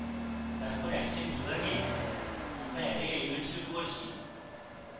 তারপর action বিভাগে আমরা অ্যারে elements শুরু করছি